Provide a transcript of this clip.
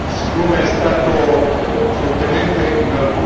C'è solo un punto su cui voglio dire due parole.